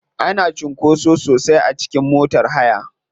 Ana cunkoso sosai a cikin motar hayar.